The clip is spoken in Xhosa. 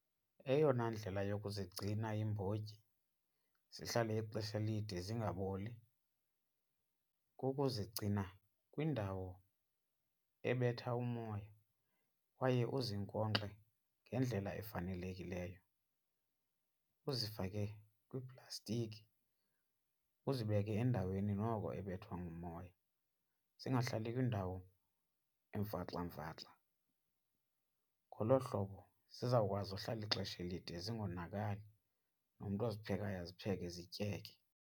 Eyona ndlela yokuzigcina iimbotyi zihlale ixesha elide zingaboli kukuzigcina kwindawo ebetha umoya kwaye uzinkonkxe ngendlela efanelekileyo. Uzifake kwiiplastiki uzibeke endaweni noko ebethwa ngumoya, zingahlali kwindawo emfaxamfaxa. Ngolo hlobo zizawukwazi uhlala ixesha elide zingonakali nomntu oziphekayo azipheke zityeke.